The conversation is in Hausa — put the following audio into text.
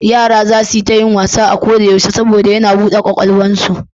Yara za su yi ta yin wasa a koyaushe saboda yana buɗe ƙarfin ƙwaƙwalwarsu.